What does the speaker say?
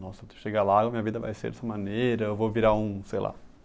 Nossa, chegar lá, minha vida vai ser dessa maneira, eu vou virar um, sei lá.